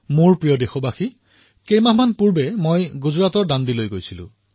মোৰ মৰমৰ দেশবাসীসকল কিছুমাহ পূৰ্বে মই গুজৰাটৰ দাণ্ডীলৈ গৈছিলো